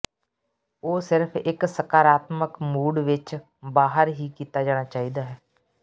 ਉਹ ਸਿਰਫ ਇੱਕ ਸਕਾਰਾਤਮਕ ਮੂਡ ਵਿੱਚ ਬਾਹਰ ਹੀ ਕੀਤਾ ਜਾਣਾ ਚਾਹੀਦਾ ਹੈ